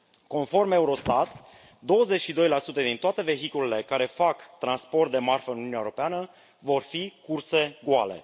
Conform Eurostat, 22 din toate vehiculele care fac transport de marfă în Uniunea Europeană vor fi curse goale.